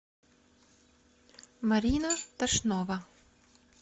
марина тошнова